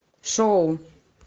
шоу